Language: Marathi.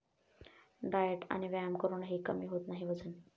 डाएट आणि व्यायाम करूनही कमी होत नाही वजन?